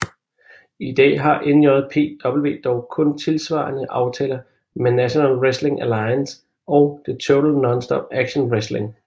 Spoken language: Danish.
I dag har NJPW dog kun tilsvarende aftaler med National Wrestling Alliance og Total Nonstop Action Wrestling